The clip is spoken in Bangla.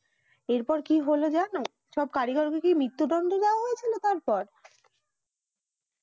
এর পর কি হলো যেন সব কারিগরকে কি মৃত্যু দন্ড দিয়া হয়েছিল তারপর